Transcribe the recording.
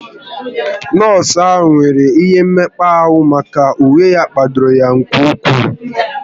Nọọsụ ahụ nwere ihe mekpa ahụ maka na uwe ya kpadoro ya nke ụkwụ